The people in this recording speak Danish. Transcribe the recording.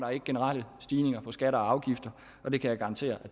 generelle stigninger af skatter og afgifter og det kan jeg garantere